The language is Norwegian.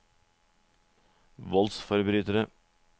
voldsforbrytere